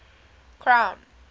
crown